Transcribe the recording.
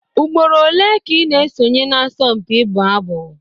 Ugboro ole ka ị na-esonye n'asọmpi ịbụ abụ?